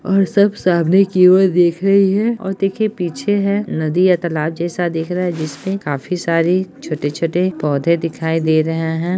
और सब सामने की ओर देख रही है और देखिए पीछे है नदी या तालाब जैसा दिख रहा है जिसमे काफी सारी छोटे-छोटे पौधे दिखाई दे रहें हैं।